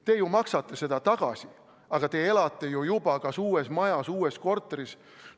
Te maksate seda tagasi, aga te elate ju juba kas uues majas või uues korteris.